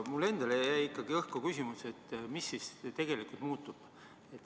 Aga mulle endale jäi ikkagi õhku küsimus, et mis siis tegelikult muutub.